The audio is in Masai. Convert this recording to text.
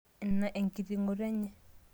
ina enkitingoto enye